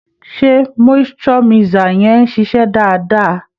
Ṣé moisture mixer yẹn ń ṣiṣẹ́ dáadáa?